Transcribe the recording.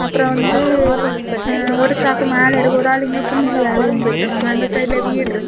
அப்புறம் வந்து ஒரு சாக்கு மேல இருக்கு ஒரு ஆளு இங்க குனிஞ்சு வேலை செஞ்சுட்டு இருக்காங்க அந்த சைடுல வீடு இருக்கு.